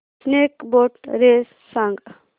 snake boat race सांग